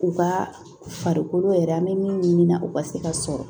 U ka farikolo yɛrɛ an bɛ min ɲini na u ka se ka sɔrɔ